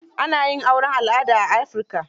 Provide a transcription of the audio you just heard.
Ana yin auren al'ada a Afirika.